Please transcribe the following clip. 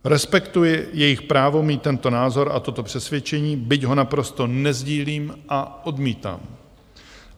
Respektuji jejich právo mít tento názor a toto přesvědčení, byť ho naprosto nesdílím a odmítám.